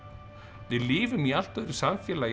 við lifum í allt öðru samfélagi